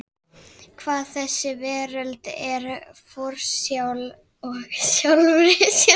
Hvað þessi veröld er forsjál og sjálfri sér næg.